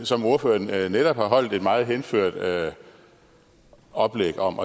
som ordføreren netop har holdt et meget henført oplæg om